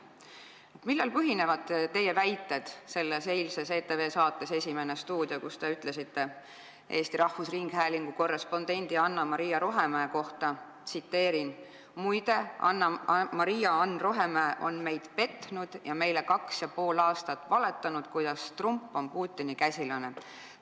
Millel põhinevad teie väited eilses ETV saates "Esimene stuudio", kus te ütlesite Eesti Rahvusringhäälingu korrespondendi Maria-Ann Rohemäe kohta: "Muide, Maria-Ann Rohemäe on meid petnud ja meile valetanud Ameerikast kaks ja pool aastat, kuidas Trump on Putini käsilane"?